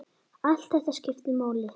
Allt þetta skiptir máli.